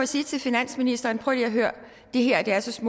sige til finansministeren prøv lige at høre det her er så så